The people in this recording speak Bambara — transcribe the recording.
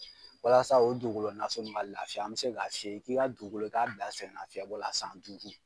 walasa o dugulo naso ka lafiya an bɛ se ka f'i ye k'i ka dugukolo i k'a bila sɛgɛnafiyɛbɔ la san duudu?